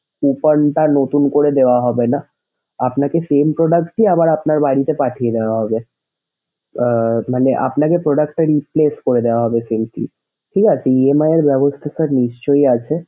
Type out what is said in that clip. return টা আর নতুন করে ধরা হবেনা। আপনাকে same product টাই আবার আপনার বাড়িতে পাঠিয়ে দেওয়া হবে।